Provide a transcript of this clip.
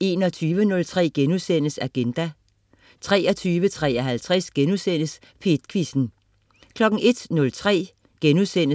21.03 Agenda* 23.53 P1 Quizzen* 01.03